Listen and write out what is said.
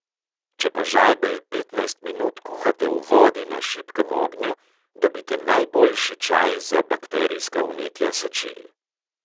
Če pa žajbelj petnajst minut kuhate v vodi na šibkem ognju, dobite najboljši čaj za bakterijska vnetja sečil.